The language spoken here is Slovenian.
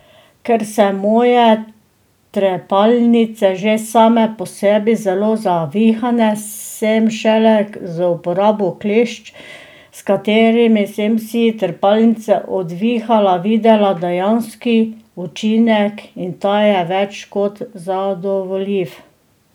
Ker se moje trepalnice že same po sebi zelo zavihane, sem šele z uporabo klešč, s katerimi sem si trepalnice odvihala, videla dejanski učinek in ta je več kot zadovoljiv.